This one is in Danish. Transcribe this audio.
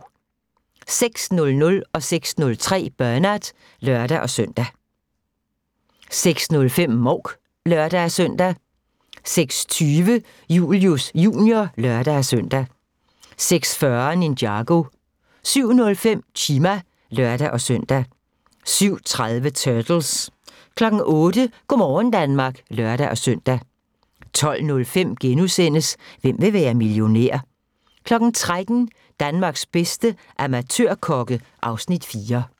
06:00: Bernard (lør-søn) 06:03: Bernard (lør-søn) 06:05: Mouk (lør-søn) 06:20: Julius Jr. (lør-søn) 06:40: Ninjago 07:05: Chima (lør-søn) 07:30: Turtles 08:00: Go' morgen Danmark (lør-søn) 12:05: Hvem vil være millionær? * 13:00: Danmarks bedste amatørkokke (Afs. 4)